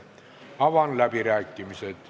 Avan läbirääkimised.